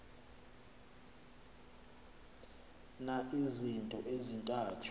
na izinto ezintathu